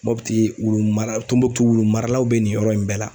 Mɔputi wurumara Tunbukutu wulumaralaw bɛ nin yɔrɔ in bɛɛ la.